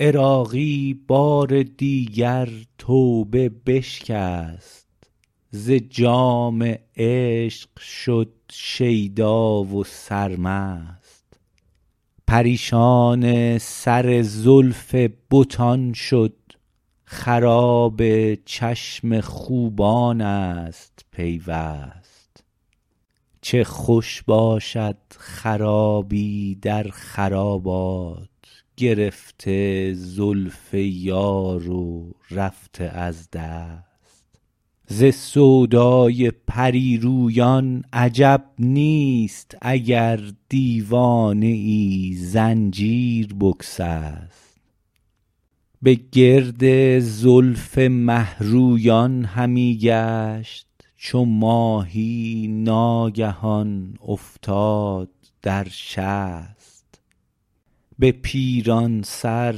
عراقی بار دیگر توبه بشکست ز جام عشق شد شیدا و سرمست پریشان سر زلف بتان شد خراب چشم خوبان است پیوست چه خوش باشد خرابی در خرابات گرفته زلف یار و رفته از دست ز سودای پریرویان عجب نیست اگر دیوانه ای زنجیر بگسست به گرد زلف مهرویان همی گشت چو ماهی ناگهان افتاد در شست به پیران سر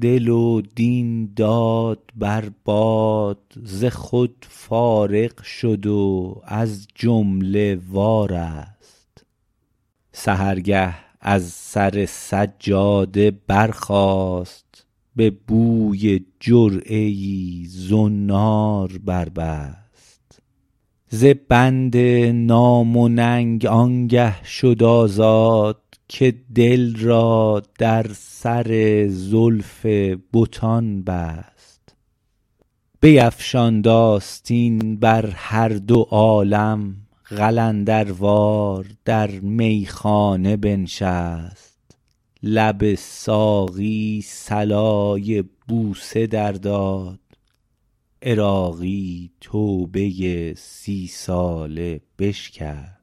دل و دین داد بر باد ز خود فارغ شد و از جمله وارست سحرگه از سر سجاده برخاست به بوی جرعه ای زنار بربست ز بند نام و ننگ آنگه شد آزاد که دل را در سر زلف بتان بست بیفشاند آستین بر هردو عالم قلندروار در میخانه بنشست لب ساقی صلای بوسه در داد عراقی توبه سی ساله بشکست